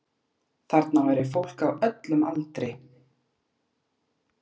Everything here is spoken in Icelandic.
Þarna væri fólk á öllum aldri